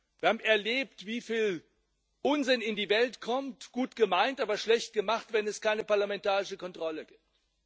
Wir haben erlebt, wieviel Unsinn in die Welt kommt gut gemeint, aber schlecht gemacht wenn es keine parlamentarische Kontrolle gibt.